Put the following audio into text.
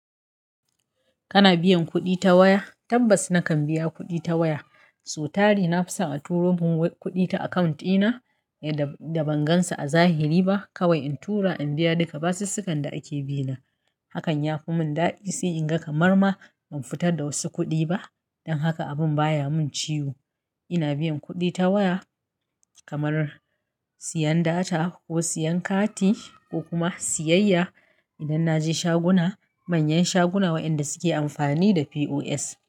Kana biyan kuɗi ta waya? Tabbas nakan biya kuɗi ta waya. So tare na fi son a turo mun kuɗi ta akawunt ɗina da ban gan sa a zahiri ba. Kawai in tura in biya duka basussukan da ake bi na. Hakan ya fi mun dadi, sai in ga kamar ma ban fitar da wasu kuɗi ba. Don haka abun baya mun ciwo. Ina biyan kuɗi ta waya kamar siyan data ko siyan kati ko kuma siyayya idan na je shaguna. Manyan shaguna waɗanda suke amfani da POS.